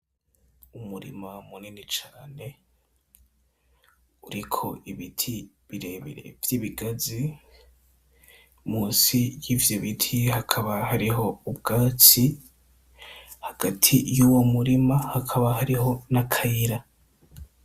Umurima munini cane uriko ibiti birebire vyibigazi munsi yivyo biti hakaba hariho ubwatsi hagati yuwo murima hakaba hariho nakayira.